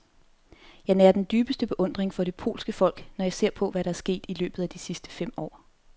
Jeg nærer den dybeste beundring for det polske folk, når jeg ser på, hvad der er sket i løbet af de sidste fem år.